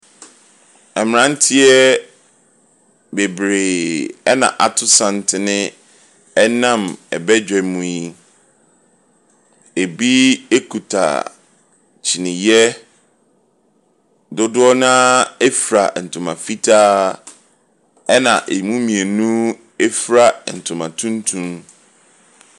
Mmeranteɛ bebree na wɔato santene nam badwam yi. Ebi kuta kyiniiɛ. Dodoɔ no ara fura ntoma fitaa, ɛnna ɛmu mmienu fura ntoma tuntum.